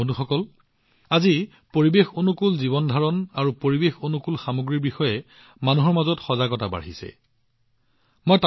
বন্ধুসকল আজি পৰিৱেশঅনুকূল জীৱনধাৰণ আৰু পৰিৱেশঅনুকূল সামগ্ৰীৰ বিষয়ে মানুহৰ মাজত আগতকৈ অধিক সজাগতা দেখা গৈছে